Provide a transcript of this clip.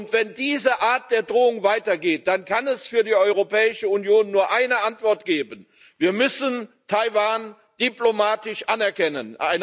Und wenn diese Art der Drohung weitergeht, dann kann es für die Europäische Union nur eine Antwort geben Wir müssen Taiwan diplomatisch anerkennen!